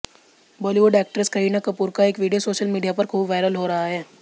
Bollywood actress Kareena Kapoor का एक video social media पर खूब वायरल हो रहा है